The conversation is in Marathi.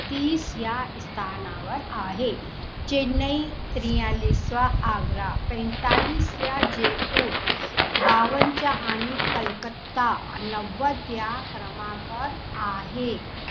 तीस या स्थानावर आहे. चेन्नई त्रीयालीस ला आग्रा पैतालीस वा जयपूर बावन च्या आणि कलकत्ता नववा त्या क्रमांकावर आहे.